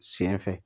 Sen fɛ